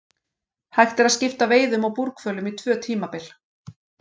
Hægt er að skipta veiðum á búrhvölum í tvö tímabil.